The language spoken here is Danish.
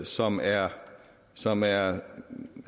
som er som er